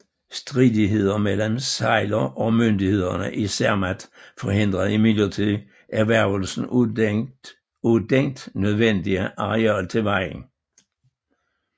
Stridigheder mellem Seiler og myndighederne i Zermatt forhindrede imidlertid erhvervelsen af dent nødvendige areal til vejen